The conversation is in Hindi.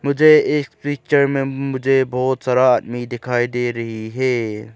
मुझे इस पिक्चर में मुझे बहोत सारा आदमी दिखाई दे रही है।